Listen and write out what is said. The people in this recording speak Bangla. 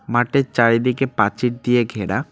মাটের চারিদিকে পাচির দিয়ে ঘেরা।